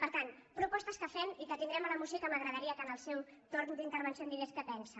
per tant propostes que fem i que tindrem a la moció i que m’agradaria que en el seu torn d’intervenció em digués què en pensa